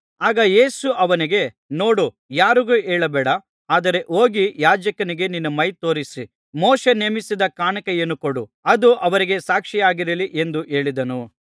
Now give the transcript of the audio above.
ಆಗ ಯೇಸು ಅವನಿಗೆ ನೋಡು ಯಾರಿಗೂ ಹೇಳಬೇಡ ಆದರೆ ಹೋಗಿ ಯಾಜಕನಿಗೆ ನಿನ್ನ ಮೈ ತೋರಿಸಿ ಮೋಶೆ ನೇಮಿಸಿದ ಕಾಣಿಕೆಯನ್ನು ಕೊಡು ಅದು ಅವರಿಗೆ ಸಾಕ್ಷಿಯಾಗಲಿ ಎಂದು ಹೇಳಿದನು